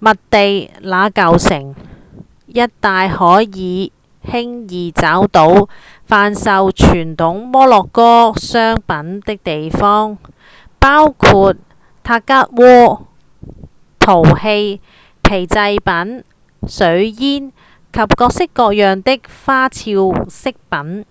麥地那舊城一帶可輕易找到販售傳統摩洛哥商品的地方包括塔吉鍋、陶器、皮製品、水煙及各式各樣的花俏飾品